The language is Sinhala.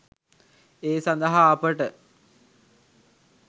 ඒ සඳහා අපට